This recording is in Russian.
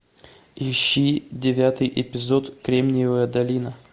ищи девятый эпизод кремниевая долина